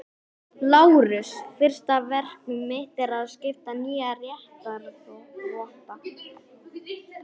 LÁRUS: Fyrsta verk mitt er að skipa nýja réttarvotta.